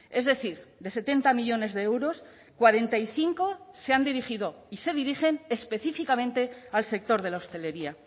es decir de setenta millónes de euros cuarenta y cinco se han dirigido y se dirigen específicamente al sector de la hostelería